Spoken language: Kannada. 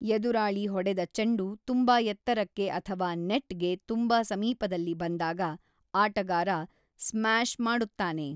ಎದುರಾಳಿ ಹೊಡೆದ ಚೆಂಡು ತುಂಬಾ ಎತ್ತರಕ್ಕೆ ಅಥವಾ ನೆಟ್‌ಗೆ ತುಂಬಾ ಸಮೀಪದಲ್ಲಿ ಬಂದಾಗ ಆಟಗಾರ ಸ್ಮ್ಯಾಷ್ ಮಾಡುತ್ತಾನೆ.